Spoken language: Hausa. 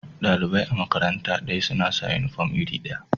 Dalibai a'makaranta daya suna sa uniform iri daya.